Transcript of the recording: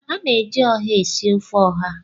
A na-eji ọha esi ofe ọha.